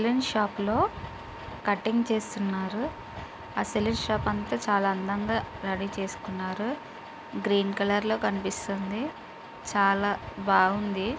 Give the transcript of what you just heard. Salon షాపులో cutting చేస్తున్నారుఅసలు shop అంతా చాలా అందంగా రెడీ చేసుకున్నారుగ్రీన్ కలర్ లో కనిపిస్తుందచాలా బావుంది.